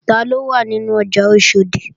Taló wà nínú ọjà Oṣòdì?